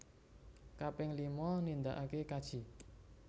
Kaping lima nindaake kaji